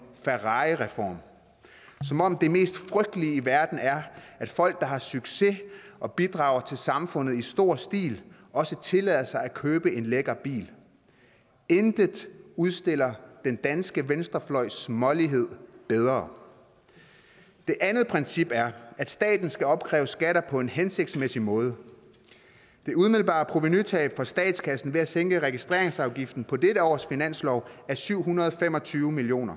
ferrarireform som om det mest frygtelige i verden er at folk der har succes og bidrager til samfundet i stor stil også tillader sig at købe en lækker bil intet udstiller den danske venstrefløjs smålighed bedre det andet princip er at staten skal opkræve skatter på en hensigtsmæssig måde det umiddelbare provenutab for statskassen ved at sænke registreringsafgiften på dette års finanslov er syv hundrede og fem og tyve million